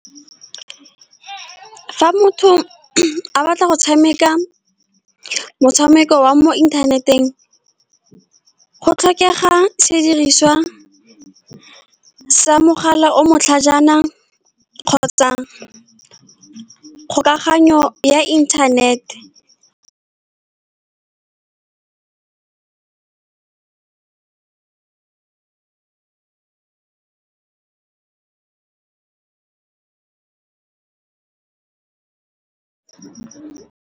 Fa motho a batla go tshameka motshameko wa mo internet-eng, go tlhokega sediriswa sa mogala o o matlhajana kgotsa kgolagano ya internet-e.